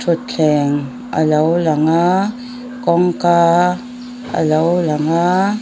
thutthleng a lo lang a kawngka a lo lang a.